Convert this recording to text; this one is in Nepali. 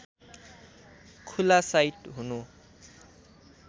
खुला साइट हुनु